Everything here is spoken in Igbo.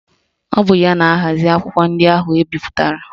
Ọ bụ ya na-ahazi akwụkwọ ndị ahụ ebipụtara